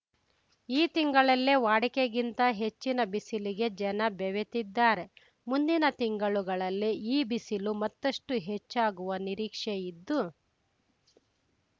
ಈ ತಿಂಗಳಲ್ಲೇ ವಾಡಿಕೆಗಿಂತ ಹೆಚ್ಚಿನ ಬಿಸಿಲಿಗೆ ಜನ ಬೆವೆತಿದ್ದಾರೆ ಮುಂದಿನ ತಿಂಗಳುಗಳಲ್ಲಿ ಈ ಬಿಸಿಲು ಮತ್ತಷ್ಟು ಹೆಚ್ಚಾಗುವ ನಿರೀಕ್ಷೆ ಇದ್ದು